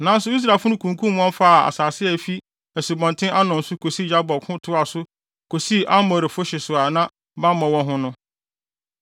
Nanso Israelfo no kunkum wɔn faa wɔn asase a efi Asubɔnten Arnon kosi asu Yabok ho toaa so kosii Amorifo ahye so a na bammɔ wɔ hɔ no.